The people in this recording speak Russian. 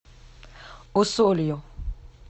усолью